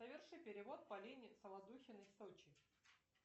соверши перевод полине солодухиной в сочи